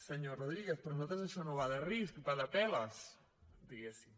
senyor rodríguez per nosaltres això no va de risc va de peles diguemne